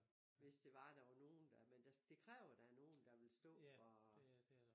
Hvis det var der var nogen der men det kræver der nogen der vil stå og